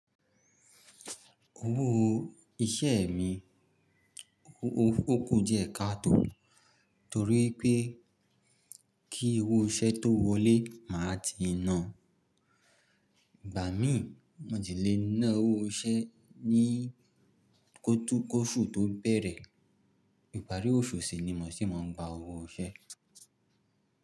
Owó iṣẹ́ mi, ó kù díẹ̀ ká tó, torí pé kí owó iṣẹ́ tó wọlé màá ti nàá. Ìgbà mí, mo ti lè ná owó iṣẹ́ ní koṣù tó bẹ̀rẹ̀. Ìparí oṣù sì ni mo sì máa ń gba owó iṣẹ́.